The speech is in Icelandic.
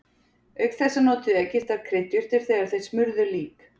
Auk þessa notuðu Egyptar kryddjurtir þegar þeir smurðu lík.